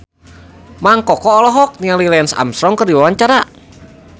Mang Koko olohok ningali Lance Armstrong keur diwawancara